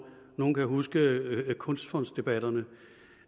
nogen kan huske kunstfondsdebatterne